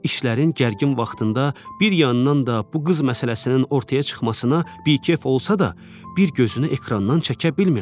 İşlərin gərgin vaxtında bir yandan da bu qız məsələsinin ortaya çıxmasına bikef olsa da, bir gözünü ekrandan çəkə bilmirdi.